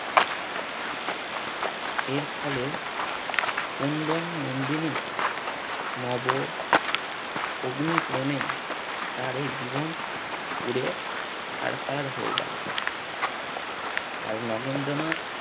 এর ফলে কুন্দন নন্দিনী নব অগ্নি প্রেমে তার এই জীবন পুড়ে ছারকার হয়ে গেলো। আর নগেন্দ্রনাথ